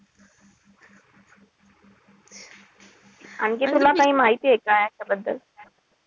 आणखी तुला काई माहितीये का याच्याबद्दल?